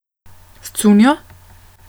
S cunjo?